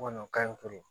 Kɔni ka ɲi tugun